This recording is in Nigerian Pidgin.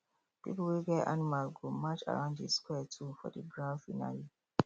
people wey get animals go march around the square too for the grand finale